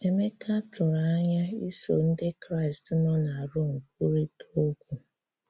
Emeka tụrụ̀ anya isò Ndị́ Kraị́st nọ̀ na Rom kwurịtà okwu.